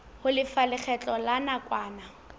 ho lefa lekgetho la nakwana